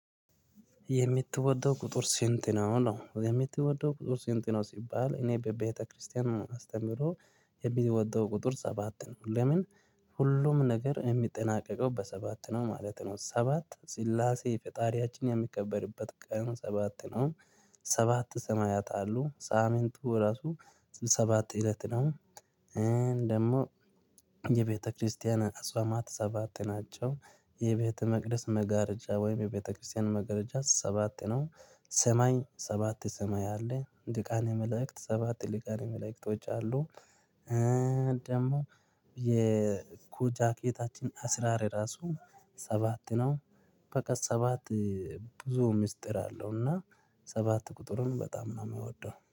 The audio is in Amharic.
የምትወደው ቁጥር ስንት ነው? ነው። የምትወደው ቁጥር ስንት ነው? ሲባል እኔ በቤተክርስቲያን አስተምህሮ የምወደው ቁጥር ሰባት ነው። ለምን ሁሉም ነገር የሚጠናቀቀው በሰባት ነው ማለት ነው። ሰባት ስላሴ ፈጣሪያችን የሚከበርበት ቀን ሰባት ነው። ሰባት ሰማያት አሉ። ሳምንቱ ራሱ ሰባት እለት ነው። ደግሞ የቤተክርስቲያን አጽዋማት ሰባት ናቸው። የቤተመቅደስ መጋረጃ ወይም የቤተክርስቲያን መጋረጃ ሰባት ነው። ሰማይ ሰባት ሰማይ አለ። ሊቃነ መላእክት ሰባት ሊቃነ መላእክቶች አሉ። ደግሞ የኩ ጃኬታችን አስራር ራሱ ሰባት ነው በቃ ሰባት ብዙ ሚስጥር አለው እና ሰባት ቁጥሩን በጣም ነው የምወደው።